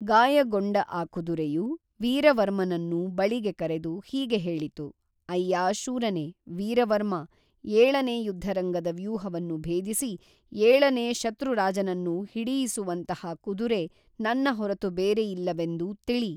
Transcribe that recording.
ಗಾಯಗೊಂಡ ಆ ಕುದುರೆಯು ವೀರವರ್ಮನನ್ನು ಬಳಿಗೆ ಕರೆದು ಹೀಗೆ ಹೇಳಿತು ಅಯ್ಯಾ ಶೂರನೇ ವೀರವರ್ಮಾ ಏಳನೇ ಯುದ್ಧರಂಗದ ವ್ಯೂಹವನ್ನು ಭೇದಿಸಿ ಏಳನೇ ಶತ್ರುರಾಜನನ್ನು ಹಿಡಿಯಿಸುವಂತಹ ಕುದುರೆ ನನ್ನ ಹೊರತು ಬೇರೆ ಇಲ್ಲವೆಂದು ತಿಳಿ